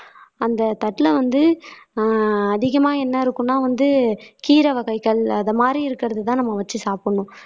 அந்த தட்டுல வந்து ஆஹ் அதிகமா என்ன இருக்கும்னா வந்து கீரை வகைகள் அது மாதிரி இருக்கிறதுதான் நம்ம வச்சு சாப்பிடணும்.